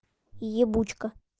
ебучка